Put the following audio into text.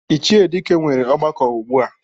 Ichie Dike nwere ọgbakọ ugbua.